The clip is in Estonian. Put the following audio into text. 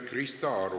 Krista Aru.